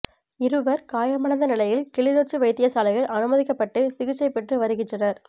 இருவர் காயமடைந்த நிலையில் கிளிநொச்சி வைத்தியசாலையில் அனுமதிக்கப்பட்டு சிகிச்சை பெற்று வருகின்றனர்